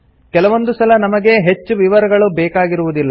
ಕೆಲವೊಂದು ಸಲ ನಮಗೆ ಹೆಚ್ಚು ವಿವರಗಳು ಬೇಕಾಗಿರುವುದಿಲ್ಲ